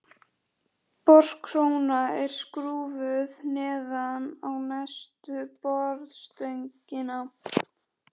Borkróna er skrúfuð neðan á neðstu borstöngina.